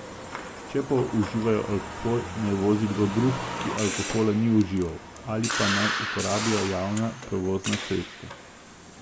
Če pa uživajo alkohol, naj vozi kdo drug, ki alkohola ni užival, ali pa naj uporabijo javna prevozna sredstva.